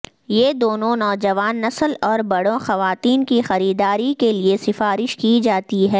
یہ دونوں نوجوان نسل اور بڑوں خواتین کی خریداری کے لئے سفارش کی جاتی ہے